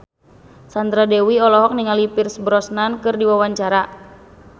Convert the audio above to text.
Sandra Dewi olohok ningali Pierce Brosnan keur diwawancara